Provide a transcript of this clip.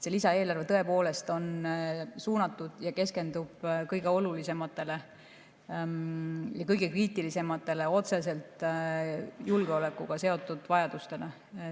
See lisaeelarve on suunatud ja keskendub kõige olulisematele ja kõige kriitilisematele, otseselt julgeolekuga seotud vajadustele.